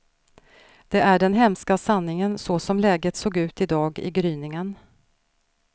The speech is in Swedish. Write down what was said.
Det är den hemska sanningen så som läget såg ut i dag i gryningen.